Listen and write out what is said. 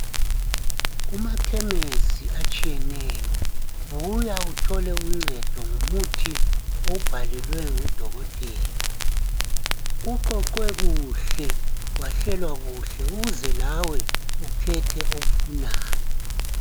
Kumakhemisi atshiyeneyo buya uthole uncedo ngomuthi owubhalelwe ngudokotela uqoqwe kuhle, wahlelwa kuhle uze lawe ukhethe owufunayo.